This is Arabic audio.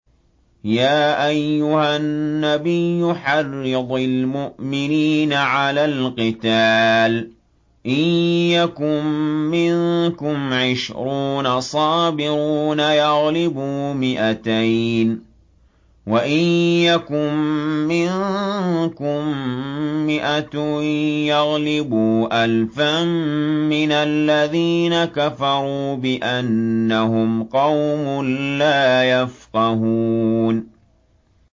يَا أَيُّهَا النَّبِيُّ حَرِّضِ الْمُؤْمِنِينَ عَلَى الْقِتَالِ ۚ إِن يَكُن مِّنكُمْ عِشْرُونَ صَابِرُونَ يَغْلِبُوا مِائَتَيْنِ ۚ وَإِن يَكُن مِّنكُم مِّائَةٌ يَغْلِبُوا أَلْفًا مِّنَ الَّذِينَ كَفَرُوا بِأَنَّهُمْ قَوْمٌ لَّا يَفْقَهُونَ